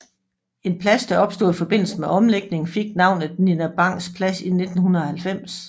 En plads der opstod i forbindelsen med omlægningen fik navnet Nina Bangs Plads i 1990